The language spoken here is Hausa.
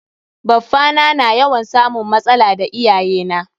Baffa na na yawan samun matsala da iyaye na.